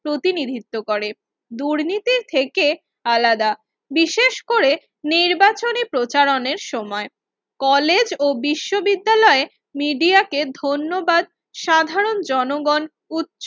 প্রতিনিধিত্ব করে দুর্নীতির থেকে আলাদা বিশেষ করে নির্বাচনী প্রচারণের সময় কলেজ ও বিশ্ববিদ্যালয় media কে ধন্যবাদ সাধারণ জনগণ উচ্চ